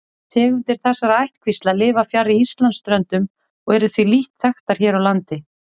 Tegundir þessara ættkvísla lifa fjarri Íslandsströndum og eru því lítt þekktar hér á landi.